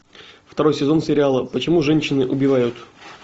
второй сезон сериала почему женщины убивают